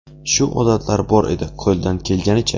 Shu odatlari bor edi, qo‘ldan kelganicha.